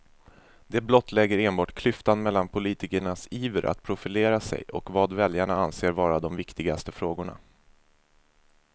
Det blottlägger enbart klyftan mellan politikernas iver att profilera sig och vad väljarna anser vara de viktigaste frågorna.